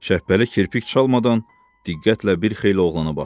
Şəbbəli kirpik çalmadan diqqətlə bir xeyli oğlana baxdı.